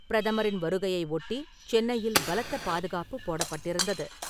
பிரதமரின் வருகையை ஒட்டி, சென்னையில் பலத்த பாதுகாப்பு போடப்பட்டிருந்தது.